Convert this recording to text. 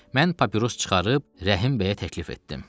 Mən papiros çıxarıb Rəhim bəyə təklif etdim.